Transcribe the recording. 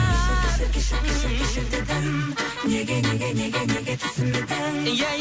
кешір кешір кешір кешір кешір дедім неге неге неге неге түсінбедің